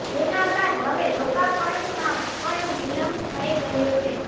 જેના બાદ હવે લોકાર્પણમાં પણ વિલંબ થઇ રહ્યો છે